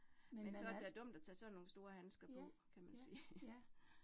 Men øh. Ja, ja, ja